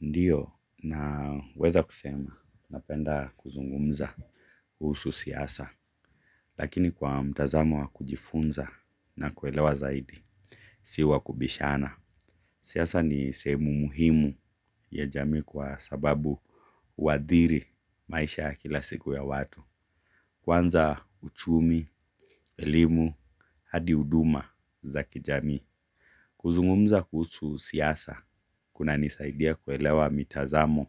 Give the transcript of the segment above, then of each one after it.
Ndiyo naweza kusema napenda kuzungumza kuhusu siasa lakini kwa mtazamo wa kujifunza na kuelewa zaidi si wa kubishana. Siasa ni sehemu muhimu ya jamii kwa sababu huadhiri maisha ya kila siku ya watu. Kwanza uchumi, elimu, hadi huduma za kijamii. Kuzungumza kuhusu siasa, kunanisaidia kuelewa mitazamo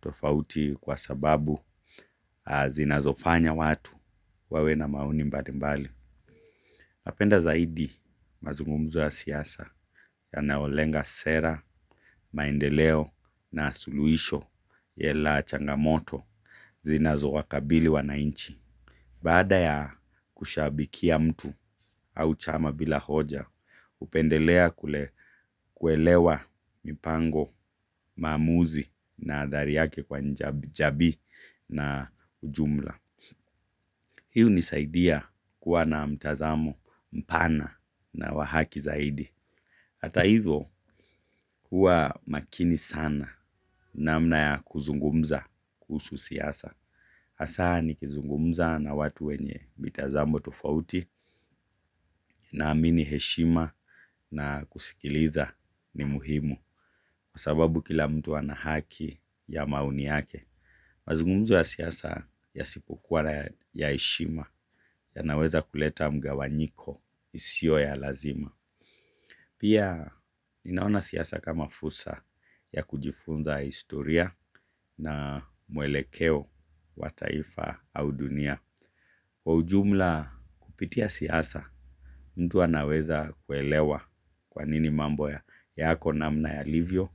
tofauti kwa sababu zinazofanya watu wawe na maoni mbalimbali. Mapenda zaidi mazungumzo ya siasa yanaolenga sera, maendeleo na suluhisho yela changamoto zinazowakabili wanainchi. Baada ya kushabikia mtu au chama bila hoja, hupendelea kule kuelewa mipango maamuzi na adhari yake kwa jamii na ujumla. Hii hunisaidia kuwa na mtazamo mpana na wa haki zaidi. Hata hivyo kuwa makini sana namna ya kuzungumza kuhusu siasa. Hasa nikizungumza na watu wenye mitazamo tofauti naamini heshima na kusikiliza ni muhimu. Kwa sababu kila mtu ana haki ya maoni yake. Mazungumzo ya siasa yasipokuwa ya heshima yanaweza kuleta mgawanyiko isio ya lazima. Pia ninaona siasa kama fursa ya kujifunza historia na muelekeo wa taifa au dunia. Kwa ujumla kupitia siasa, mtu anaweza kuelewa kwa nini mambo yako namna yalivyo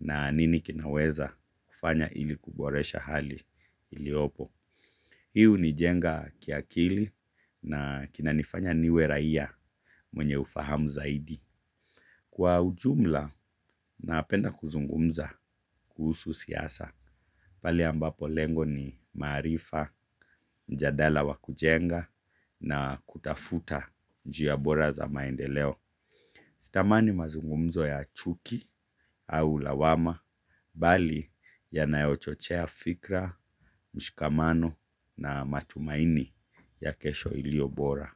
na nini kinaweza kufanya ili kuboresha hali iliopo. Hii hunijenga kiakili na kinanifanya niwe raia mwenye ufahamu zaidi. Kwa ujumla, napenda kuzungumza kuhusu siasa, pale ambapo lengo ni maarifa, mjadala wa kujenga na kutafuta njia bora za maendeleo. Sitamani mazungumzo ya chuki au lawama, bali yanayochochea fikra, mshikamano na matumaini ya kesho ilio bora.